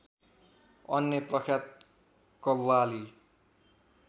अन्य प्रख्यात कव्वाली